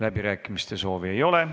Läbirääkimiste soovi ei ole.